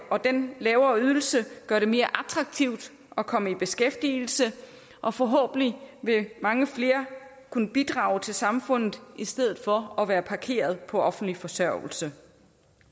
og den lavere ydelse gør det mere attraktivt at komme i beskæftigelse og forhåbentlig vil mange flere kunne bidrage til samfundet i stedet for at være parkeret på offentlig forsørgelse